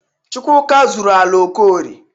Chukwuka zuru ala Okorie.